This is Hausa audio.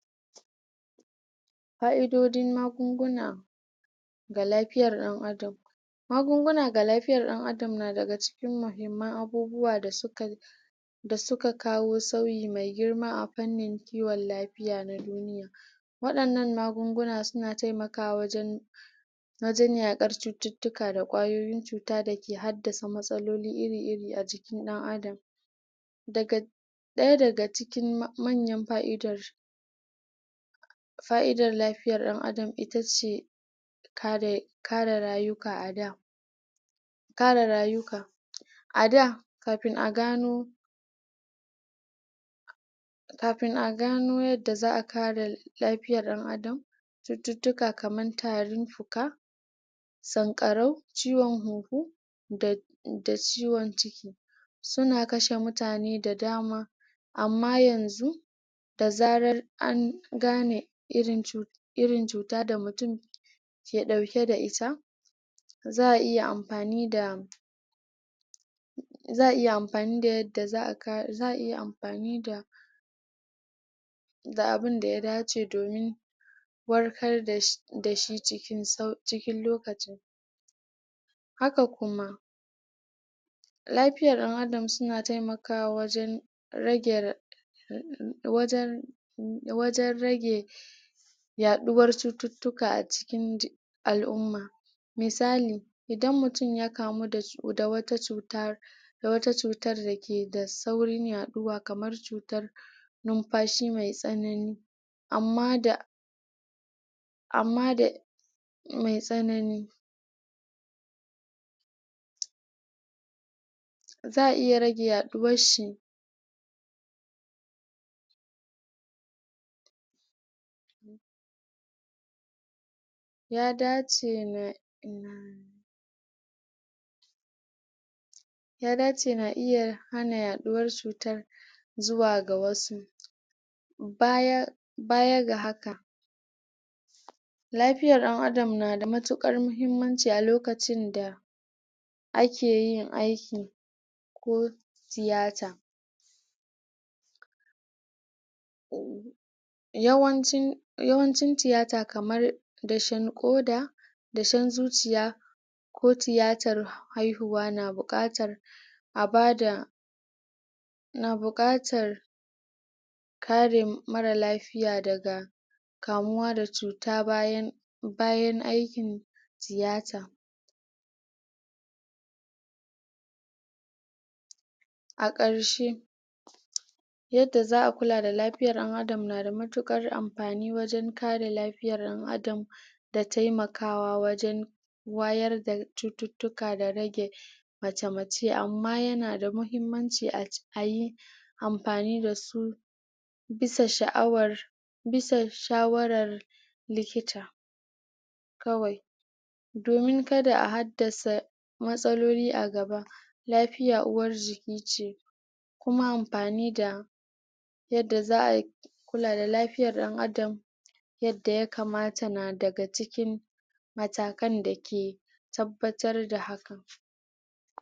ƙa'idodin magunguna ga lafiyar ɗan adam magunguna ga lafiyar ɗan adam na daga cikin mahimman abubuwa da suka da suka kawo sauyi mai girma a fannin kiwon lafiya na duniya waɗannan magunguna suna taimakawa wajen wajen yaƙar cututtuka da ƙwayoyin cuta dake haddasa matsaloli iri-rir a jikin ɗan adam daga ɗaya daga cikin manyan fa'idar fa'idar lafiyar ɗan adam itace kare kare rayuka a da kare rayuka a da kafin a gano kafin a gano yadda za'a kare lafiyar ɗan adam cututtuka kaman tarin fuka sankarau ciwon huhu da da ciwon ciki suna kashe mutane da dama amma yanzu da zarar an gane irin cu irin cuta da mutum ke ɗauke da ita za'a iya amfani da za'a iya amfani da yadda za'a ka za'a iya amfani da da abunda ya dace domin warkar dashi cikin sau cikin lokacin haka kuma lafiya ɗan adam suna taimakawa wajen rage ra wajen wajen rage yaɗuwar cututtuka a cikin al'umma. misali idan mutum ya kamu da wata cuta da wata cutar dake da saurin yaɗuwa kamar cutar numfashi mai tsanani amma da amma da mai tsanani za'a iya rage yaɗuwar shi ya dace na ya dace na iya hana yaɗuwar cutar zuwa ga wasu baya bayaga haka lafiyar ɗan adam nada matukar muhimmanci a lokacin da akeyin aiki ko tiyata. yawancin yawancin tiyata kamar dashe ƙoda dashen zuciya ko tiyatar haihuwa na buƙatar a bada na buƙatar kare mara lafiya daga kamuwa da cuta bayan bayan aikin tiyata a ƙarshe yadda za'a kula da lafiyar ɗan adam na da matukar amfani wajen kare lafiyar ɗan adam da taimakawa wajen wayar da cututtuka da rage mace mace amma yana da muhimmanci ayi amfani dasu bisa sha'awar bisa shawarar likita. kawai. domin kada a haddasa matsaloli a gaba lafiya uwar jiki ce kuma amfani da yadda za'a kula da lafiyar ɗan adam yadda ya kamata na daga cikin matakan dake tabbatar da hakan